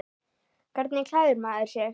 Hvernig klæðir maður sig þá?